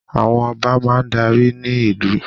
Àwọn Ọba máa darí ní ìlú